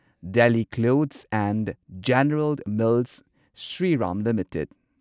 Delhi cloths and general mills Shriram limited